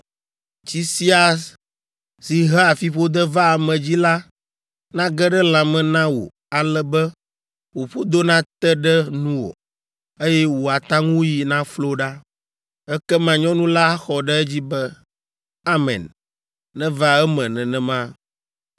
Tsi sia si hea fiƒode vaa ame dzi la nage ɖe lãme na wò ale be wò ƒodo nate ɖe nuwò, eye wò ataŋuyi naflo ɖa.” “ ‘Ekema nyɔnu la axɔ ɖe edzi be, “Amen, neva eme nenema.”